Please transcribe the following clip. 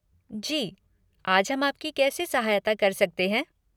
जी, आज हम आपकी कैसे सहायता कर सकते हैं?